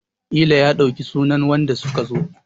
ƙila ya ɗauki sunan wanda suka zo!